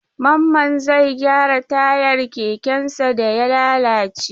Mamman zai gyara tayar kekensa da ya lalace.